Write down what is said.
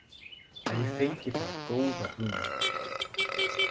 Ef ég fengi bara góða hugmynd.